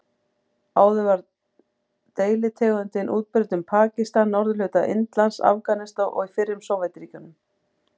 Áður var deilitegundin útbreidd um Pakistan, norðurhluta Indlands, Afganistan og í fyrrum Sovétríkjunum.